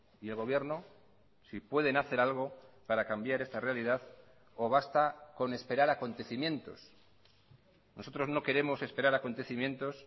y el gobierno si pueden hacer algo para cambiar esta realidad o basta con esperar acontecimientos nosotros no queremos esperar acontecimientos